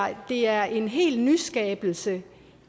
at det er en hel nyskabelse